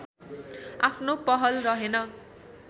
आफ्नो पहल रहेन